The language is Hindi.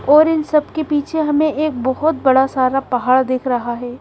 और इन सब के पीछे हमें एक बहोत बड़ा सारा पहाड़ दिख रहा है।